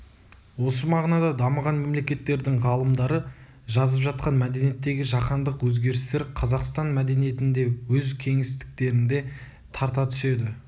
осы мағынада дамыған мемлекеттердің ғалымдары жазып жатқан мәдениеттегі жаһандық өзгерістер қазақстан мәдениетін де өз кеңістіктеріне тарта түседі